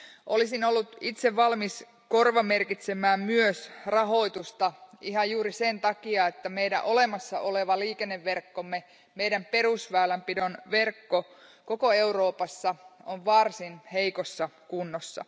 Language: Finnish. Olisin ollut itse valmis korvamerkitsemään myös rahoitusta ihan juuri sen takia, että meidän olemassa oleva liikenneverkkomme, meidän perusväylänpidonverkkomme koko Euroopassa on varsin heikossa kunnossa.